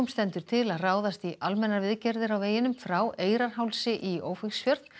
stendur til að ráðast í almennar viðgerðir á veginum frá í Ófeigsfjörð